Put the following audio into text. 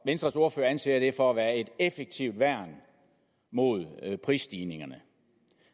venstres ordfører anser det for at være et effektivt værn mod prisstigninger